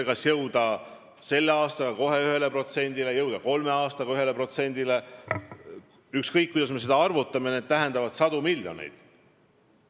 Kui me tahame jõuda kolme aastaga 1%-ni – ükskõik, kuidas me seda arvutame, see tähendab sadu miljoneid.